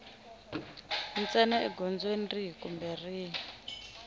ntsena egondzweni rihi kumbe rihi